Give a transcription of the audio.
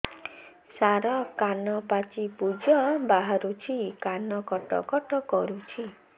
ସାର କାନ ପାଚି ପୂଜ ବାହାରୁଛି କାନ କଟ କଟ କରୁଛି